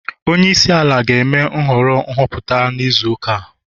Onye isi ala ga-eme nhọrọ nhọpụta n'izu ụka a